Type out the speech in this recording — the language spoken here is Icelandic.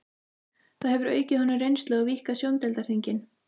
Það hefur aukið honum reynslu og víkkað sjóndeildarhringinn.